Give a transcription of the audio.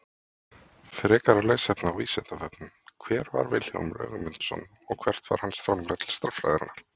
Frekara lesefni á Vísindavefnum: Hver var Vilhjálmur Ögmundsson og hvert var hans framlag til stærðfræðinnar?